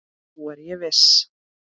Nú er ég viss!